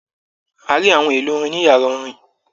A rí àwọn èlò orin ní yàrá orin.